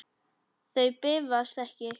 Þau bifast ekki.